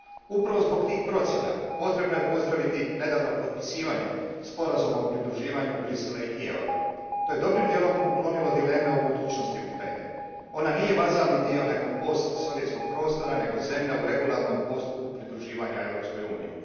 Upravo zbog tih procjena potrebno je pozdraviti nedavno potpisivanje Sporazuma o pridruživanju Bruxellesa i Kijeva. To je dobrim dijelom uklonilo dileme o budućnosti Ukrajine. Ona nije vazalni dio nekog post sovjetskog prostora nego zemlja u regularnom postupku pridruživanja Europskoj uniji.